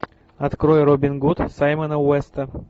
открой робин гуд саймона уэста